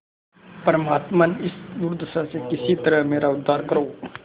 परमात्मन इस दुर्दशा से किसी तरह मेरा उद्धार करो